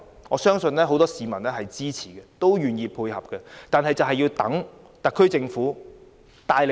我相信很多市民會支持有關計劃，並且願意配合政府的工作。